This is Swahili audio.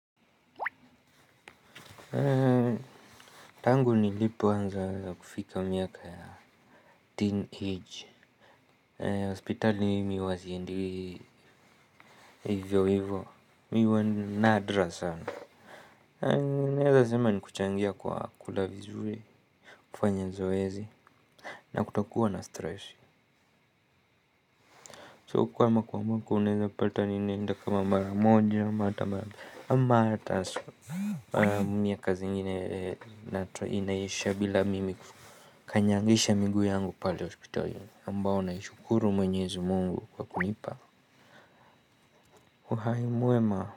Tngu nilipo anza kufika miaka ya teen age hospitali mimi huwa siendi hivyo hivyo. Mimi huwa nadra sana. Naweza sema ni kuchangia kwa kula vizuri. Kufanya zoezi na kutokuwa na stress So kuwa umua mwako uneza pata ni naenda kama mara moja. Mimi kazi ingine inaisha bila mimi. Kanyangisha miguu yangu pale hospital yungu ambao naishukuru mwenyezi mungu kwa kunipa uhai mwema.